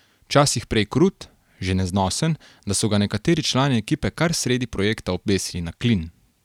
Včasih prej krut, že neznosen, da so ga nekateri člani ekipe kar sredi projekta obesili na klin.